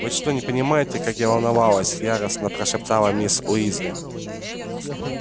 вы что не понимаете как я волновалась яростно прошептала мисс уизли